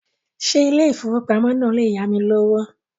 Ṣé ilé ìfowópamọ́ náà le yámi lówó?